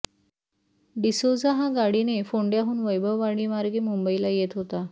डिसोझा हा गाडीने फोंडय़ाहून वैभववाडीमार्गे मुंबईला येत होता